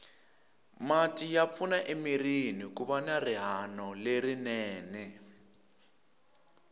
mati ya pfuna emirini kuva na rihanolerinene